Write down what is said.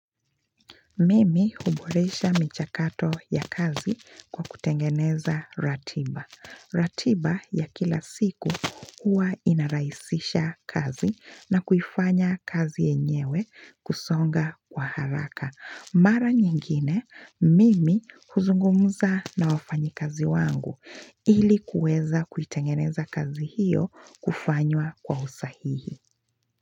Mimi huboresha michakato ya kazi kwa kutengeneza ratiba. Ratiba ya kila siku huwa inarahisisha kazi na kufanya kazi yenyewe kusonga kwa haraka. Mara nyingine, mimi huzungumza na wafanyikazi wangu ili kuweza kuitengeneza kazi hiyo kufanywa kwa usahihi.